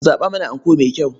Ku zaɓa mana anko mai kyau.